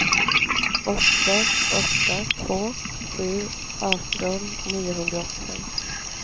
åtta åtta två sju arton niohundraåttiofem